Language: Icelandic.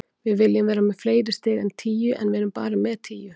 Við viljum vera með fleiri stig en tíu, en við erum bara með tíu.